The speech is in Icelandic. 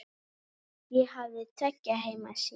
Ég hafði tveggja heima sýn.